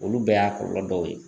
Olu bɛɛ y'a kɔlɔlɔ dɔw ye.